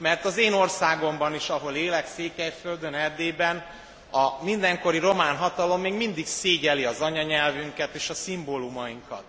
Mert az én országomban is, ahol élek Székelyföldön, Erdélyben a mindenkori román hatalom még mindig szégyelli az anyanyelvünket és a szimbólumainkat.